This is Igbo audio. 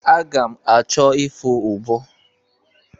Aga m achọ ịfụ ụbọ.